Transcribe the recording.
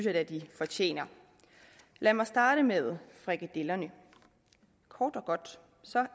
at de fortjener lad mig starte med frikadellerne kort og godt